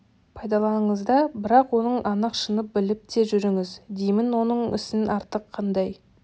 пайдаланыңыз да бірақ оның анық шынын біліп те жүріңіз деймін оның ісінен артық қандай